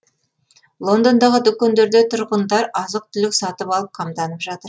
лондондағы дүкендерде тұрғындар азық түлік сатып алып қамданып жатыр